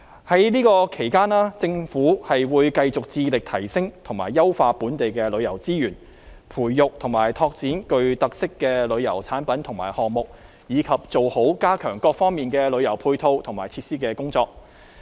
在這期間政府會繼續致力提升和優化本地旅遊資源，培育和拓展具特色的旅遊產品和項目，以及做好加強各方面旅遊配套和設施的工作。